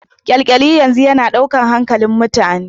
Kyalkyali yanzu yana daukar hankalin mutane.